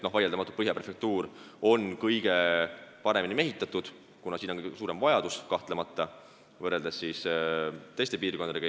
Vaieldamatult on Põhja prefektuur kõige paremini mehitatud, kuna siin on kõige suurem vajadus politseinike järele, kahtlemata, võrreldes Eesti teiste piirkondadega.